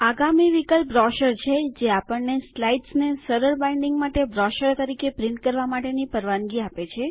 આગામી વિકલ્પ બ્રોચર છે જે આપણને સ્લાઇડ્સને સરળ બાઇન્ડિંગ માટે બ્રોશરો તરીકે છાપવા માટેની પરવાનગી આપે છે